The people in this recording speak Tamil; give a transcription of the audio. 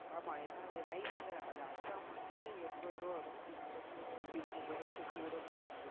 ஆமா ஏன்னா அது nice ல அது அஸ்ஸாம் வந்து எண்பது ரூவா வரும் இது தொண்ணூறு ரூவா வரும் இது கொஞ்சம் rate கூடங்கிறனால